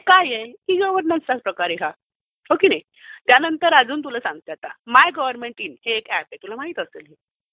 काय आहे? ई गव्हर्नन्सचा प्रकार आहे हा. हो की नाही? त्यानंतर तुला अजून एक सांगते, माय गव्हर्नमेंट इन हे एक एप आहे. तुला माहीत असेल.